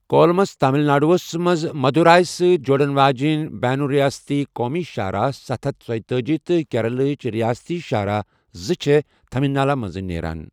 Coulombs تامِل ناڈوُہس مَنٛز مدوٗراے سۭتۍ جوڑَن واجٮ۪ن بینُ ریاستی قومی شاہراہ ستھَ ہتھ ژٔیۄتأج تہٕ کیرالہ ہٕچ رِیاستی شاہراہ زٕچھِ تھینمالا مٔنزِ نیران۔